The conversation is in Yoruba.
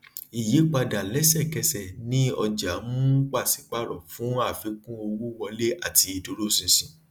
ìyípadà lẹsẹkẹsẹ ni ọjà um pàsípàrọ fún àfikún owó wọlé àti ìdúróṣinṣin